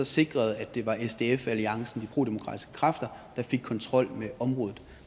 sikre at det var de prodemokratiske kræfter der fik kontrol med området